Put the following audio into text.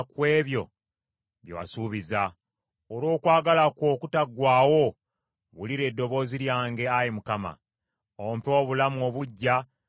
Olw’okwagala kwo okutaggwaawo wulira eddoboozi lyange, Ayi Mukama , ompe obulamu obuggya ng’amateeka go bwe gali.